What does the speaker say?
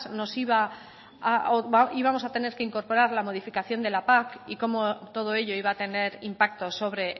nos iba o íbamos a tener que incorporar la modificación de la pac y como todo ello iba a tener impacto sobre